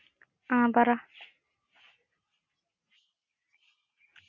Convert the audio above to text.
Commerce ആയിരുന്നു. ഹാ